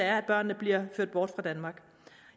er at børnene bliver ført bort fra danmark